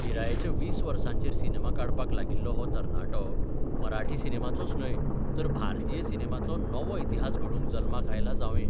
पिरायेच्या 20 वसाँचेर सिनेमा काडपाक लागिल्लो हो तरणाटो मराठी सिनेमाचोच न्ह्य, तर भारतीय सिनेमाचो नवो इतिहास घडोवंक जल्माक आयला जावंये.